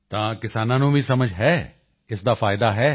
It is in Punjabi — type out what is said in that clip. ਤਾਂ ਕਿਸਾਨਾਂ ਨੂੰ ਵੀ ਸਮਝ ਹੈ ਇਸ ਦਾ ਫਾਇਦਾ ਹੈ